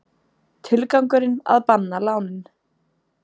Tilgangurinn að banna lánin